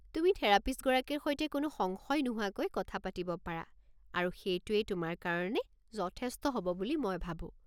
তুমি থেৰাপিষ্টগৰাকীৰ সৈতে কোনো সংশয় নোহোৱাকৈ কথা পাতিব পাৰা আৰু সেইটোৱেই তোমাৰ কাৰণে যথেষ্ট হ'ব বুলি মই ভাবো।